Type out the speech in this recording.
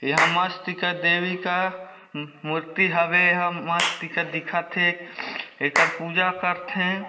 एहा मस्तिका देवी का मू मूर्ति हवे एहा मस्तिका दिखत हे एखर पुजा करथे।